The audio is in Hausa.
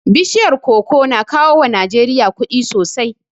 Bishiyar koko na kawo wa Najeriya kuɗi sosai